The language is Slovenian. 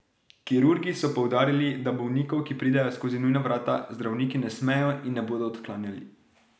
Kirurgi so poudarili, da bolnikov, ki pridejo skozi nujna vrata, zdravniki ne smejo in ne bodo odklanjali.